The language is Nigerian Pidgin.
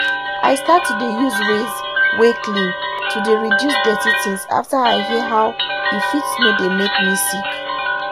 i start to dey use ways wey clean to dey reduce dirty things after i hear how e fit no dey make me sick.